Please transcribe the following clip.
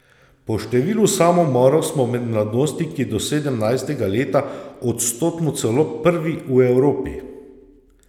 Po številu samomorov smo med mladostniki do sedemnajstega leta odstotno celo prvi v Evropi!